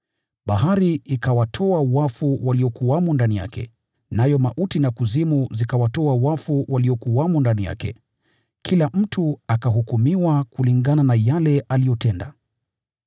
Bahari ikawatoa wafu waliokuwamo ndani yake, nayo mauti na Kuzimu zikawatoa wafu waliokuwamo ndani yake. Kila mtu akahukumiwa kulingana na yale aliyoyatenda.